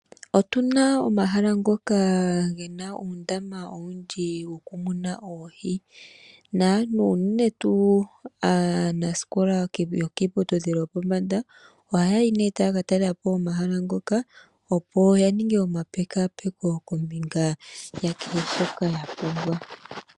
Otuna omahala ngoka gena uundama owundji muna omwiidhi naantu uunene tuu aanasikola yokiiputudhilo yopombanda ohaya yi nee taa ka talela po omahala ngoka opo ya ninge ompekakaapeko kombinga ya kehe shoka ya pumbwa.